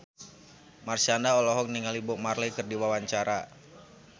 Marshanda olohok ningali Bob Marley keur diwawancara